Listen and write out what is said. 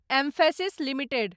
emphasis limited